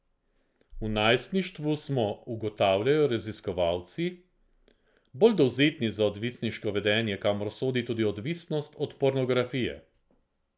V najstništvu smo, ugotavljajo raziskovalci, bolj dovzetni za odvisniško vedenje, kamor sodi tudi odvisnost od pornografije.